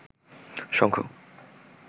শঙ্খ